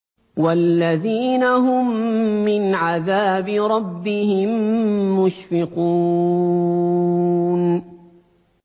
وَالَّذِينَ هُم مِّنْ عَذَابِ رَبِّهِم مُّشْفِقُونَ